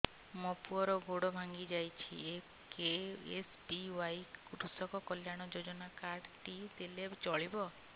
ମୋ ପୁଅର ଗୋଡ଼ ଭାଙ୍ଗି ଯାଇଛି ଏ କେ.ଏସ୍.ବି.ୱାଇ କୃଷକ କଲ୍ୟାଣ ଯୋଜନା କାର୍ଡ ଟି ଦେଲେ ଚଳିବ